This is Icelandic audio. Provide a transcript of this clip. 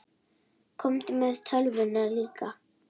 Komdu með tölvuna líka.